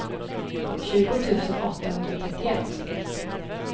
tjugo tusen åttahundratrettioett